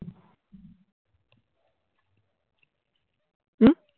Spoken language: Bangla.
হম